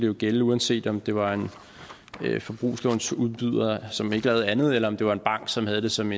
jo gælde uanset om det var en forbrugslånsudbyder som ikke lavede andet eller om det var en bank som havde det som